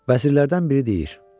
Vəzirlərdən biri deyir: